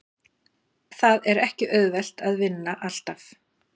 Það er ekki auðvelt að vinna alltaf.